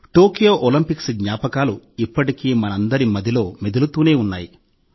Tokyo Olympics జ్ఞాపకాలు ఇప్పటికీ మనందరి మదిలో మెదులుతూనే ఉన్నాయి